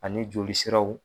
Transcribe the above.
Ani joli siraw